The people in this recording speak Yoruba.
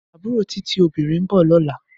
Abúró Titi (óbirín) n bò lòlá